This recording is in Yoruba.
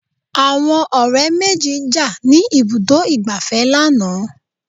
Àwọn ọ̀rẹ́ méjì jà ní ibùdó ìgbafẹ́ lánàá.